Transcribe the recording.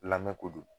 Lamɛn ko don